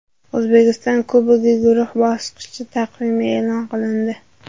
O‘zbekiston Kubogi guruh bosqichi taqvimi e’lon qilindi !